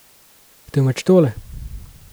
Temveč tole.